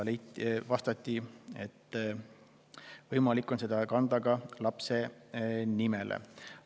Vastati, et seda on võimalik kanda ka lapse nimele.